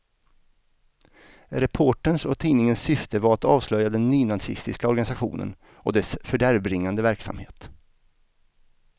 Reporterns och tidningens syfte var att avslöja den nynazistiska organisationen och dess fördärvbringande verksamhet.